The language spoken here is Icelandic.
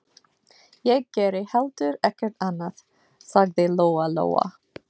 Ég geri heldur ekkert annað, sagði Lóa Lóa.